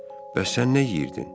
Bəs sən nə yeyirdin?